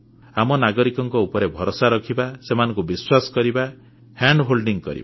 ଆମେ ନାଗରିକଙ୍କ ଉପରେ ଭରସା ରଖିବା ସେମାନଙ୍କୁ ବିଶ୍ୱାସ କରିବା ସେମାନଙ୍କ ହାତ ଧରି ଚାଲିବା